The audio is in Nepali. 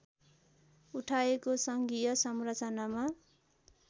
उठाएको सङ्घीय संचरनामा